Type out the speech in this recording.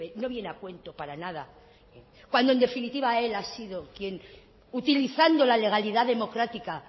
no viene a cuento para nada cuando en definitiva él ha sido quién utilizando la legalidad democrática